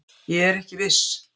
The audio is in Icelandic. Ég er ekki viss.